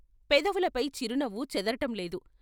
పెదవులపై చిరునవ్వు చెదరటంలేదు.